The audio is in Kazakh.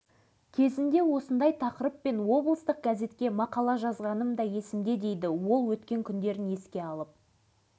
соның салдарынан қиындыққа тіреліп қалған тұстарым да аз емес қайсар жігіт бұл мақсаттарына жетті әкім болу